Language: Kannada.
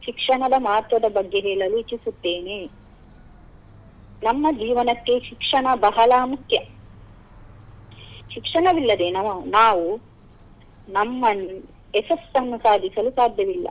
ಶಿಕ್ಷಣದ ಮಹತ್ವದ ಬಗ್ಗೆ ಹೇಳಲು ಇಚ್ಛಿಸುತ್ತೇನೆ. ನಮ್ಮ ಜೀವನಕ್ಕೆ ಶಿಕ್ಷಣ ಬಹಳ ಮುಖ್ಯ ಶಿಕ್ಷಣವಿಲ್ಲದೆ ನಾವು ನಮ್ಮನ್ನು ಯಶಸ್ಸನ್ನು ಸಾಧಿಸಲು ಸಾಧ್ಯವಿಲ್ಲ.